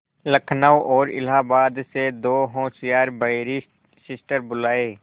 लखनऊ और इलाहाबाद से दो होशियार बैरिस्टिर बुलाये